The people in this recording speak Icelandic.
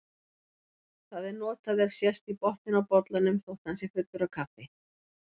Það er notað ef sést í botninn á bollanum þótt hann sé fullur af kaffi.